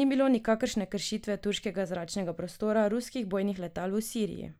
"Ni bilo nikakršne kršitve turškega zračnega prostora ruskih bojnih letal v Siriji.